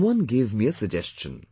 Someone gave me a suggestion